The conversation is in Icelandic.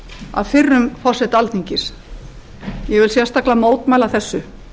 að fyrrum forseta alþingis ég vil sérstaklega mótmæla þessu